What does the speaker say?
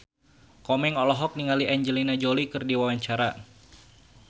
Komeng olohok ningali Angelina Jolie keur diwawancara